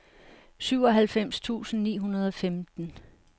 syvoghalvfems tusind ni hundrede og femten